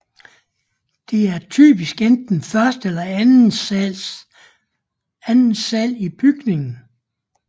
Det er typisk enten første eller anden sal i bygningen